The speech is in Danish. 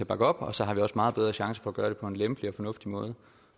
bakke op så har vi også meget bedre chance for at gøre det på en lempelig og fornuftig måde